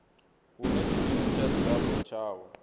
hune tshikimu tsha dzilafho tshavho